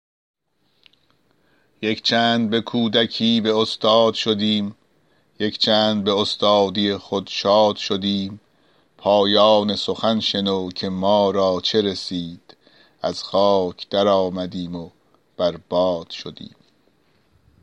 یک چند به کودکی به استاد شدیم یک چند به استادی خود شاد شدیم پایان سخن شنو که ما را چه رسید از خاک در آمدیم و بر باد شدیم